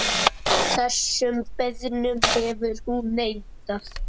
Þessum beiðnum hefur hún neitað.